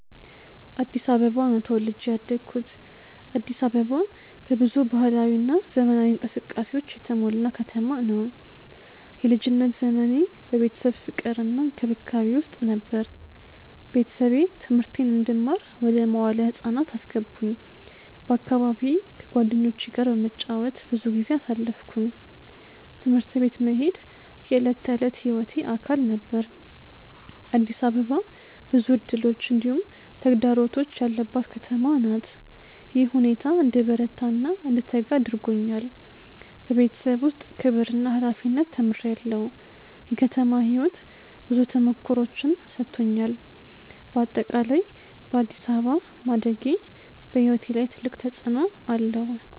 አዲስ አበባ ነው ተወልጄ ያደኩት። አዲስ አበባ በብዙ ባህላዊ እና ዘመናዊ እንቅስቃሴዎች የተሞላ ከተማ ነው። የልጅነት ዘመኔ በቤተሰብ ፍቅር እና እንክብካቤ ውስጥ ነበር። ቤተሰቤ ትምህርቴን እንድማር ወደ መዋለ ህፃናት አስገቡኝ በአካባቢዬ ከጓደኞቼ ጋር በመጫወት ብዙ ጊዜ አሳለፍኩ። ትምህርት ቤት መሄድ የዕለት ተዕለት ሕይወቴ አካል ነበር። አዲስ አበባ ብዙ እድሎች እንዲሁም ተግዳሮቶች ያለባት ከተማ ናት። ይህ ሁኔታ እንድበረታ እና እንድተጋ አድርጎኛል። በቤተሰብ ውስጥ ክብር እና ሀላፊነት ተምሬአለሁ። የከተማ ሕይወት ብዙ ተሞክሮዎችን ሰጥቶኛል። በአጠቃላይ በአዲስ አበባ ማደጌ በሕይወቴ ላይ ትልቅ ተፅዕኖ አለው።